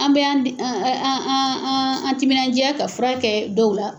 An bɛ an an an an an an an an timinandiya ka furakɛ dɔw la